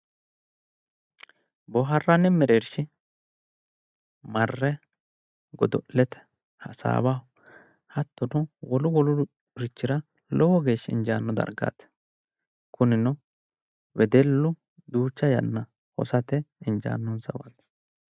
boohaarranni mereershi marre godo'lete hasaawaho hattono wolu wolurichira lowo geeshsha injaanno dargaati kunino wedellu duucha yanna hosate injaannonsawaati.